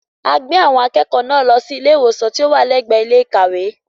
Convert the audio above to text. A gbé àwọn akẹ́kọ̀ọ́ náà lọ sí ilé ìwòsàn tí ó wà lẹ́gbẹ̀ẹ́ ilé ìkàwé.